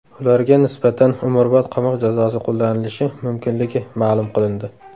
Ularga nisbatan umrbod qamoq jazosi qo‘llanilishi mumkinligi ma’lum qilindi.